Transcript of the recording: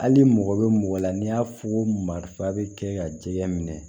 Hali mɔgɔ bɛ mɔgɔ la n'i y'a fɔ ko marifa bɛ kɛ ka jɛgɛ minɛ